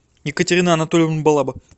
екатерина анатольевна балаба